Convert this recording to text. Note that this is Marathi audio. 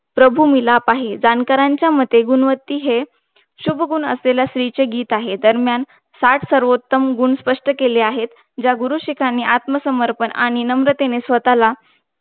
प्रभूमिलापही जाणकारांच्या मते गुणवंती आहे हे शुभगुन असलेली स्त्री चे गीत आहे दरम्यान साठ सर्वोत्तम गुन स्पष्ट केले आहे ज्या गुरु शिखांनी आत्मसमर्पण आणि नम्रतेने स्वत्ताला